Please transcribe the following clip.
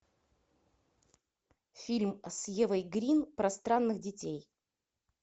фильм с евой грин про странных детей